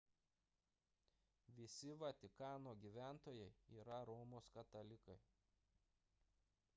visi vatikano gyventojai yra romos katalikai